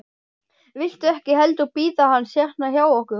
Viltu ekki heldur bíða hans hérna hjá okkur?